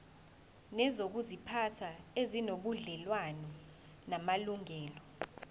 nezokuziphatha ezinobudlelwano namalungelo